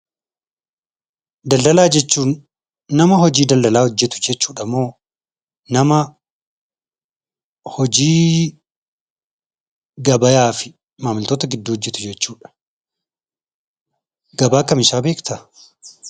Daldalaafi gabaa jechuun; nama hojii daldala hojeetu jechuudha moo, nama hojii gabaayyaafi maammiltoota gidduu hojeetu jechuudha. Gabaa kamisaa beektaa?